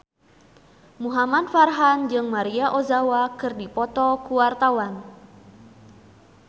Muhamad Farhan jeung Maria Ozawa keur dipoto ku wartawan